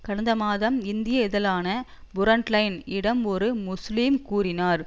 கடந்த மாதம் இந்திய இதழான புரண்ட் லைன் இடம் ஒரு முஸ்லிம் கூறினார்